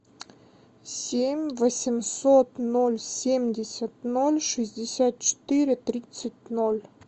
семь восемьсот ноль семьдесят ноль шестьдесят четыре тридцать ноль